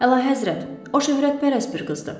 Əlahəzrət, o şöhrətpərəst bir qızdır.